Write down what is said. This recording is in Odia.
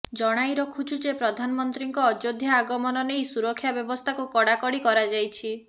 ଜଣାଇ ରଖୁଛୁ ଯେ ପ୍ରଧାନମନ୍ତ୍ରୀଙ୍କ ଅଯୋଧ୍ୟା ଆଗମନ ନେଇ ସୁରକ୍ଷା ବ୍ୟବସ୍ଥାକୁ କଡ଼ାକଡ଼ି କରାଯାଇଛି